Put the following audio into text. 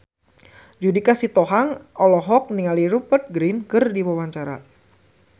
Judika Sitohang olohok ningali Rupert Grin keur diwawancara